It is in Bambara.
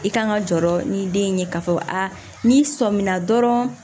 I kan ka jɔrɔ ni den ye k'a fɔ n'i sɔmina dɔrɔn